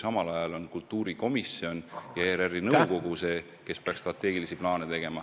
Samal ajal peaksid kultuurikomisjon ja ERR-i nõukogu strateegilisi plaane tegema.